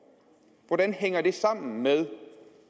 hvordan hænger det sammen med